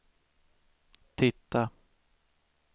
titta